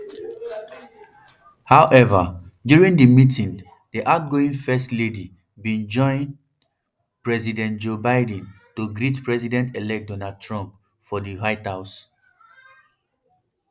however during di meeting di outgoing first um lady bin join president joe biden to greet presidentelect donald trump for di white house